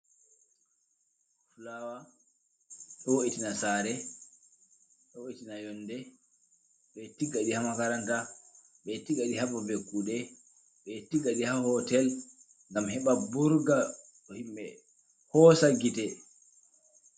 Fulawa ɗo vo'itana sare. ɗo vo'itina yonɗe. Be tigaɗi ha maranta, be tigaɗi ha babe kuɗe, be tigaɗi ha hotel. Ngam heba burga himbe hoosa gite.